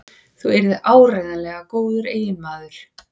Þú yrðir áreiðanlega góður eiginmaður.